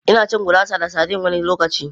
Ina cin gurasa da sardine wani lokaci.